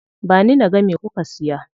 Ba ni naga me kuka siya.